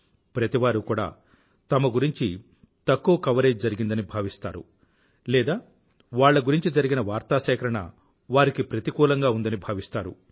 ప్రతివారూ కూడా తమ గురించి తక్కువ కవరేజ్ వార్తా సేకరణ జరిగిందని భావిస్తారు లేదా వాళ్ల గురించి జరిగిన వార్తా సేకరణ వారికి ప్రతికూలంగా ఉందని భావిస్తారు